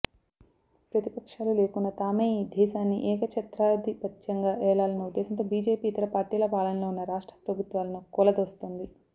ప్రతిపక్షాలు లేకుండా తామే ఈ దేశాన్ని ఏకచ్ఛత్రాధిపత్యంగా ఏలాలన్న ఉద్దేశంతో బిజెపి ఇతర పార్టీల పాలనలోవున్న రాష్ట్ర ప్రభుత్వాలను కూలదోస్తోంది